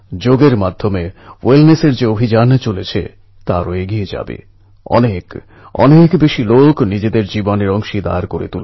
প্রথমবার বাড়ির বাইরে বেরনো গ্রামের বাইরে যাওয়া এক সুরক্ষিত পরিবেশ থেকে বাইরে বেরিয়ে নিজেকে নিজের পথ প্রদর্শক হতে হয়